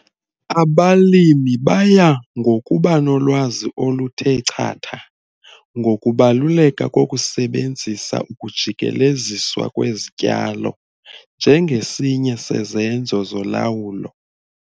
Abalimi baya ngokuba nolwazi oluthe chatha ngokubaluleka kokusebenzisa ukujikeleziswa kwezityalo njengesinye sezenzo zolawulo.